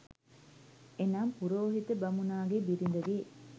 එනම්, පුරෝහිත බමුණාගේ බිරිඳගේ